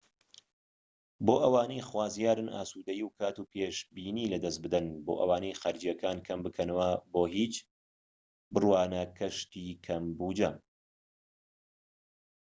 بۆ ئەوانەی خوازیارن ئاسودەیی و کات و پێشبینی لەدەست بدەن بۆ ئەوەی خەرجیەکان کەم بکەنەوە بۆ هیچ بڕوانە گەشتی کەم بوجە